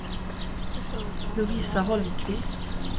Lovisa Holmqvist